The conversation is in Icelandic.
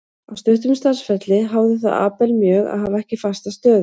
Á stuttum starfsferli háði það Abel mjög að hafa ekki fasta stöðu.